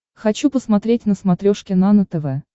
хочу посмотреть на смотрешке нано тв